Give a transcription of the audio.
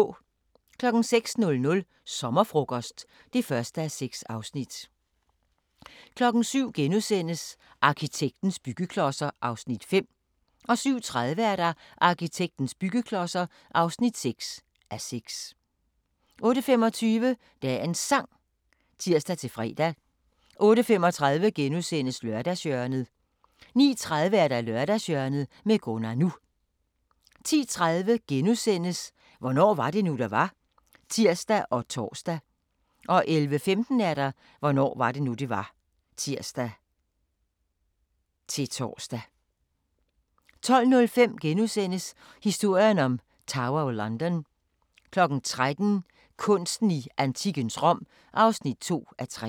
06:00: Sommerfrokost (1:6) 07:00: Arkitekternes byggeklodser (5:6)* 07:30: Arkitekternes byggeklodser (6:6) 08:25: Dagens Sang (tir-fre) 08:35: Lørdagshjørnet * 09:30: Lørdagshjørnet med Gunnar NU 10:30: Hvornår var det nu, det var? *(tir og tor) 11:15: Hvornår var det nu, det var? (tir-tor) 12:05: Historien om Tower of London * 13:00: Kunsten i antikkens Rom (2:3)